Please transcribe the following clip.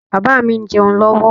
Bàbá mi ń jẹ́un lọ́wọ́